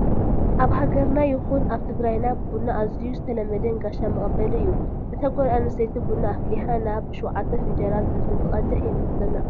ኣብ ሃገርና ይኹን ኣብ ትግራይና ቡና ኣዝዩ ዝተለመደን ጋሻ መቐበሊ እዩ፡፡ እታ ጓል ኣነስተይቲ ቡና ኣፈሊሓ ናብ 7 ፊንጃላት እንትትቀድሕ የመልክተና፡፡